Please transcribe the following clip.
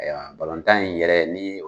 Balontan in yɛrɛ ni